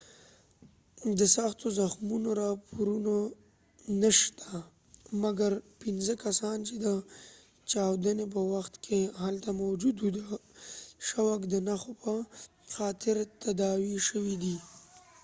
د سختو زخمونو راپورونه نه شته مګر پنځه کسان چې د چاودنی په وخت کې هلته موجود و د شوک د نښو په خاطر تداوي شوي دي